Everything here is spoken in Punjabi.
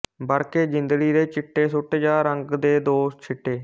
ਵਰਕੇ ਜਿੰਦੜੀ ਦੇ ਚਿੱਟੇ ਸੁਟ ਜਾਂ ਰੰਗ ਦੇ ਦੋ ਛਿੱਟੇ